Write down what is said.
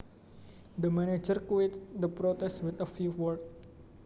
The manager quieted their protest with a few words